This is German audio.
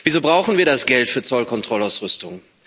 Wieso brauchen wir das Geld für Zollkontrollausrüstung?